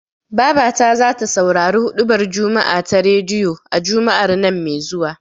Babata zata saurari huɗubar juma'a ta rediyo, a Juma'ar nan me zuwa.